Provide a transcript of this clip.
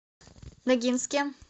ногинске